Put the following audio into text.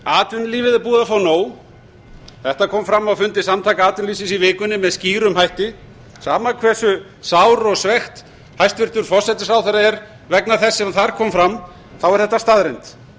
atvinnulífið er búið að fá nóg þetta kom fram á fundi samtaka atvinnulífsins í vikunni með skýrum hætti sama hversu sár og svekkt hæstvirtur forsætisráðherra er vegna þess sem þar kom fram er þetta staðreynd